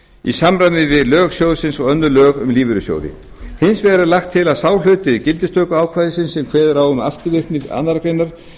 í samræmi við lög sjóðsins og önnur lög um lífeyrissjóði hins vegar er lagt til að sá hluti gildistökuákvæðisins sem kveður á um afturvirkni annarrar greinar